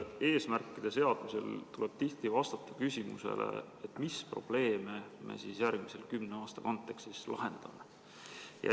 Eesmärkide seadmisel tuleb tihti vastata küsimusele, mis probleeme me järgmise kümne aasta kontekstis lahendame.